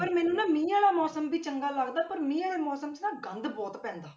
ਪਰ ਮੈਨੂੰ ਨਾ ਮੀਂਹ ਵਾਲਾ ਮੌਸਮ ਵੀ ਚੰਗਾ ਲੱਗਦਾ ਪਰ ਮੀਂਹ ਵਾਲੇ ਮੌਸਮ 'ਚ ਨਾ ਗੰਦ ਬਹੁਤ ਪੈਂਦਾ।